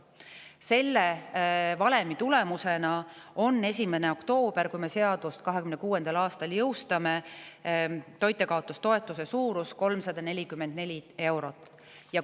Selle valemi tulemusena on 1. oktoobril, kui seadus 2026. aastal jõustub, toitjakaotustoetuse suurus 344 eurot.